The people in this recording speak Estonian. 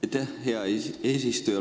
Aitäh, hea eesistuja!